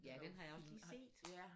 Ja den har jeg lige set!